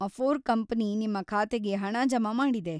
Afore company ನಿಮ್ಮ ಖಾತೆಗೆ ಹಣ ಜಮಾ ಮಾಡಿದೆ.